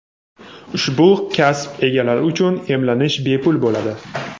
Ushbu kasb egalari uchun emlanish bepul bo‘ladi.